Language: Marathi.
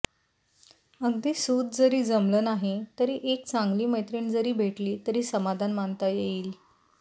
अगदी सुत जरी जमलं नाही तरी एक चांगली मैत्रीण जरी भेटली तरी समाधान मानता येईल